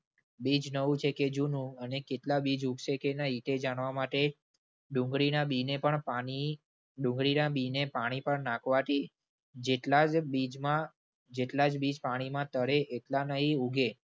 બીજ નવું છે કે જૂનું અને કેટલા બીજ ઉગશે કે નહિ, તે જાણવા માટે ડુંગળીના બીને પણ પાણી, ડુંગળીના બીને પાણી પર નાખવાથી જેટલા જ બીજમાં જેટલા જ બીજ પાણીમાં તરે એટલા નહિ ઉગે.